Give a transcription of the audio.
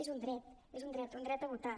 és un dret és un dret un dret a votar